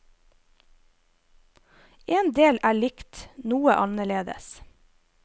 En del er likt, noe annerledes.